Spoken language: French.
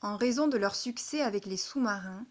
en raison de leur succès avec les sous-marins